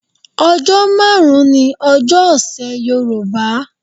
Ọjọ́ márùn-ún ni ọjọ́ ọ̀sẹ̀ Yorùbá.